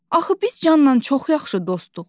Axı biz Canla çox yaxşı dostduq.